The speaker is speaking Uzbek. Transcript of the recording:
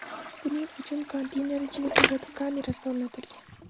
Buning uchun konteyner ichiga kuzatuv kamerasi o‘rnatilgan.